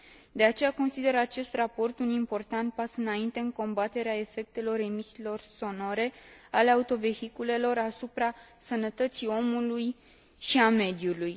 De aceea, consider acest raport un important pas înainte în combaterea efectelor emisiilor sonore ale autovehiculelor asupra sănătății omului și a mediului.